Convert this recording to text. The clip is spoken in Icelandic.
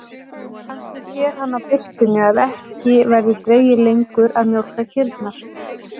Kannski sér hann á birtunni að ekki verði dregið lengur að mjólka kýrnar.